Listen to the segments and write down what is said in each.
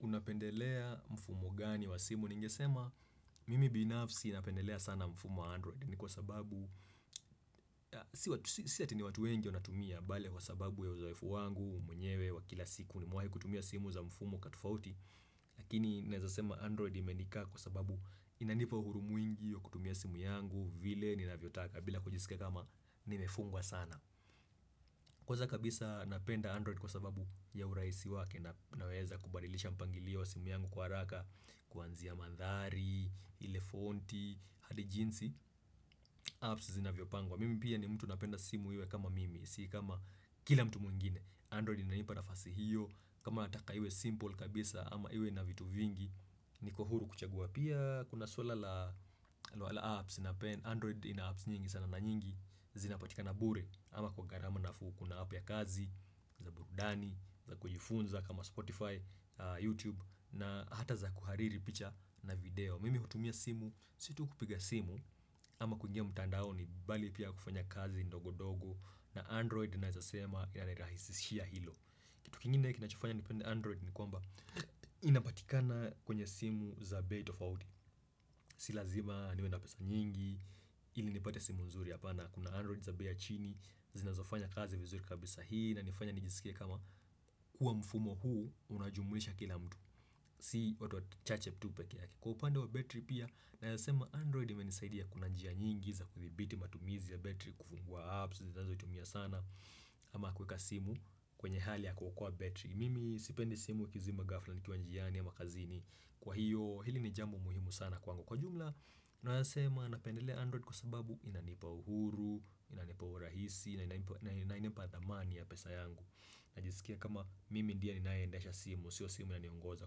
Unapendelea mfumo gani wa simu? Ningesema mimi binafsi napendelea sana mfumo wa android ni kwa sababu si ati ni watu wengi wanatumia bali kwa sababu ya uzoefu wangu mwenyewe wa kila siku nimewahi kutumia simu za mfumo tofauti lakini naeza sema android imenikaa kwa sababu inanipa uhuru mwingi wa kutumia simu yangu vile ninavyotaka bila kujiskia kama nimefungwa sana. Kwanza kabisa napenda Android kwa sababu ya urahisi wake na naweza kubadilisha mpangilio wa simu yangu kwa haraka kuanzia mandhari, ile fonti, hadi jinsi apps zinavyopangwa mimi pia ni mtu napenda simu iwe kama mimi, si kama kila mtu mwingine Android inanipa nafasi hiyo, kama nataka iwe simple kabisa ama iwe na vitu vingi niko huru kuchagua, pia kuna suala la apps napenda Android ina apps nyingi sana na nyingi zinapatikana bure ama kwa gharama nafuu kuna app ya kazi, burudani, za kujifunza kama Spotify, YouTube na hata za kuhariri picha na video. Mimi hutumia simu, si tu kupiga simu ama kuingia mtandaoni bali pia kufanya kazi ndogo ndogo na Android naweza sema inirahisishia hilo Kitu kingine kinachofanya nipende Android ni kwamba inapatikana kwenye simu za bei tofauti Si lazima niwe na pesa nyingi ili nipate simu nzuri hapana, kuna Android za bei ya chini zinazofanya kazi vizuri kabisa, hii inanifanya nijisikie kama kuwa mfumo huu unajumuisha kila mtu. Si watu wachache tu peke yake. Kwa upande wa battery pia Nawezasema Android imenisaidia kuna njia nyingi za kudhibiti matumizi ya battery kufungua apps ninazotumia sana ama kuweka simu kwenye hali ya kuokoa battery. Mimi sipendi simu ikizima ghafla nikiwa njiani ama kazini kwa hiyo hili ni jambo muhimu sana kwaangu. Kwa jumla, nasema napendelea Android kwa sababu inanipa uhuru, inanipa urahisi, na inanipa dhamani ya pesa yangu Najisikia kama mimi ndiye ninayeendesha simu, sio simu inaniongoza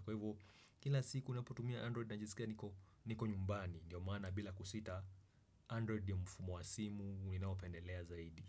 kwa hivyo kila siku ninapotumia Android najisikia niko nyumbani ndiyo mana bila kusita Android ndio mfumo wa simu ninaopendelea zaidi.